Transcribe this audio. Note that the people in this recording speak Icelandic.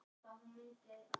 Eitt land sker sig úr.